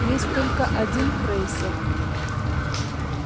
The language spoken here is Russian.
есть только один крейсер